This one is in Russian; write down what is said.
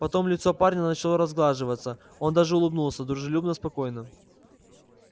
потом лицо парня начало разглаживаться он даже улыбнулся дружелюбно спокойно